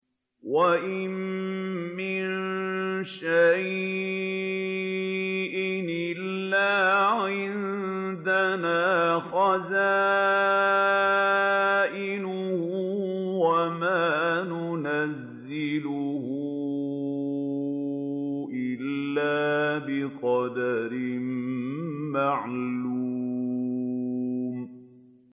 وَإِن مِّن شَيْءٍ إِلَّا عِندَنَا خَزَائِنُهُ وَمَا نُنَزِّلُهُ إِلَّا بِقَدَرٍ مَّعْلُومٍ